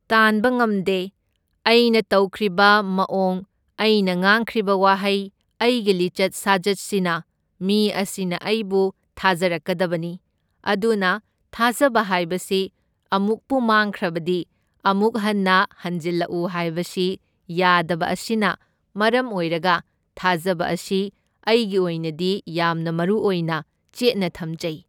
ꯇꯥꯟꯕ ꯉꯝꯗꯦ, ꯑꯩꯅ ꯇꯧꯈ꯭ꯔꯤꯕ ꯃꯑꯣꯡ ꯑꯩꯅ ꯉꯥꯡꯈ꯭ꯔꯤꯕ ꯋꯥꯍꯩ ꯑꯩꯒꯤ ꯂꯤꯆꯠ ꯁꯥꯖꯠꯁꯤꯅ ꯃꯤ ꯑꯁꯤꯅ ꯑꯩꯕꯨ ꯊꯥꯖꯔꯛꯀꯗꯕꯅꯤ, ꯑꯗꯨꯅ ꯊꯥꯖꯕ ꯍꯥꯏꯕꯁꯤ ꯑꯃꯨꯛꯄꯨ ꯃꯥꯡꯈ꯭ꯔꯕꯗꯤ ꯑꯃꯨꯛ ꯍꯟꯅ ꯍꯟꯖꯤꯜꯂꯛꯎ ꯍꯥꯏꯕꯁꯤ ꯌꯥꯗꯕ ꯑꯁꯤꯅ ꯃꯔꯝ ꯑꯣꯏꯔꯒ ꯊꯥꯖꯕ ꯑꯁꯤ ꯑꯩꯒꯤ ꯑꯣꯏꯅꯗꯤ ꯌꯥꯝꯅ ꯃꯔꯨꯑꯣꯏꯅ ꯆꯦꯠꯅ ꯊꯝꯖꯩ꯫